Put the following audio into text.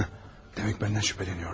Demək məndən şübhələnirlər.